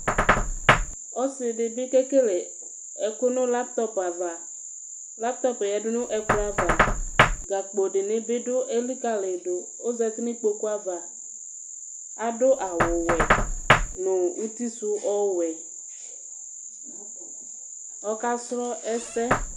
Ɔsidibi kekele ɛku nu laytɔp ava Laytɔp yadu nu ɛkplɔ ava Gakpo dini bi du elikayidu kɔzati nu ikpoku ava Adu awu wɛ utisu ɔwɛ Ɔka srɔ ɛsɛ